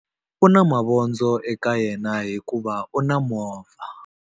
U na mavondzo eka yena hikuva u na movha.